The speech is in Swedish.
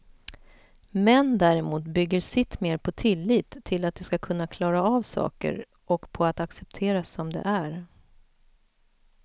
Män däremot bygger sitt mer på tillit till att de ska kunna klara av saker och på att accepteras som de är.